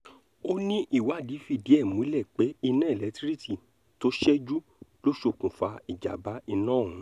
ó ní ìwádìí fídíẹ̀ ẹ̀ múlẹ̀ pé iná elétíríìkì tó ṣẹ́jú ló ṣokùnfà ìjàm̀bá iná ọ̀hún